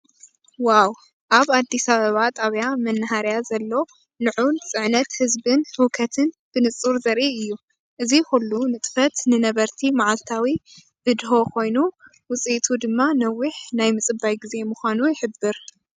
ዋው! ኣብ ኣዲስ ኣበባ ጣብያ መናኸርያ ዘሎ ልዑል ፅዕነት ህዝብን ህውከትን ብንፁር ዘርኢ እዩ። እዚ ኩሉ ንጥፈት ንነበርቲ መዓልታዊ ብድሆ ኮይኑ ውጽኢቱ ድማ ነዊሕ ናይ ምጽባይ ግዜ ምዃኑ ይሕብር።